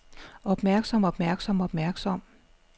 opmærksom opmærksom opmærksom